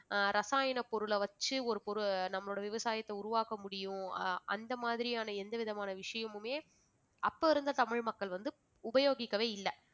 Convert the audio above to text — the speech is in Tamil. அஹ் ரசாயன பொருளை வெச்சி ஒரு பொரு~ நம்மளோட விவசாயத்தை உருவாக்க முடியும் ஆஹ் அந்த மாதிரியான எந்தவிதமான விஷயமுமே அப்ப இருந்த தமிழ் மக்கள் வந்து உபயோகிக்கவே இல்ல